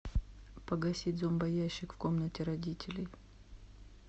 погасить зомбоящик в комнате родителей